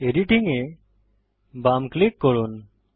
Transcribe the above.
editing এ বাম click করুন